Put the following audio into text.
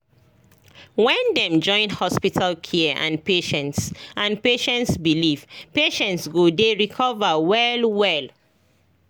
when dem join hospital care and patients and patients belief patients go dey recover well well